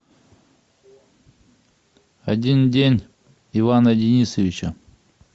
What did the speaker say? один день ивана денисовича